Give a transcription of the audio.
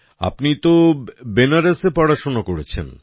আপনি তো বেনারসে পড়াশোনা করেছেন